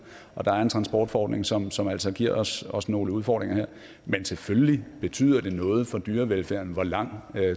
og der er en transportforordning som som altså giver os os nogle udfordringer her men selvfølgelig betyder det noget for dyrevelfærden hvor lang